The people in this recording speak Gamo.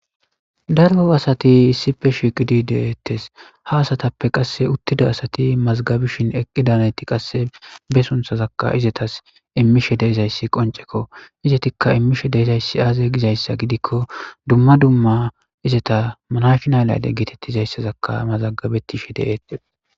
daro asati issife shigidi de'ettes ha asatappe qasse uttida asati mazagabishin eqqida nayati qasse be sunthazakka izetas immishe deezayssi qonceko izetikka immishe deezayssi aaze gizayssa gidikko dumma dumma izeta manashnay layde geetettizayssazakka mazagabettishe deettes